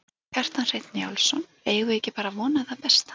Kjartan Hreinn Njálsson: Eigum við ekki bara að vona það besta?